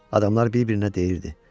Adamlar bir-birinə deyirdi: